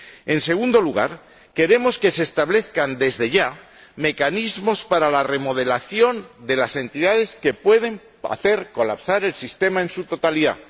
En segundo lugar, queremos que se establezcan, desde ya, mecanismos para la remodelación de las entidades que pueden hacer colapsar el sistema en su totalidad.